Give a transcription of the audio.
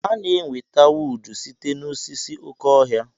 Ana-enweta wuud site n'osisi oké ọhịa.